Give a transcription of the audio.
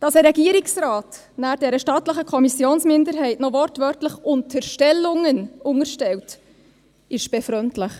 Dass ein Regierungsrat dieser stattlichen Kommissionsminderheit noch wortwörtlich «Unterstellungen» unterstellt, ist befremdlich.